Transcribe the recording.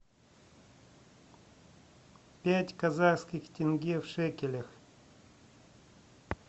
пять казахских тенге в шекелях